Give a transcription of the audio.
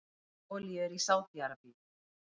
Mest af olíu er í Sádi-Arabíu.